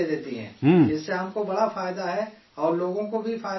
اس سے ہم کو بڑا فائدہ ہے اور، اور لوگوں کو بھی فائدہ ہے اس سے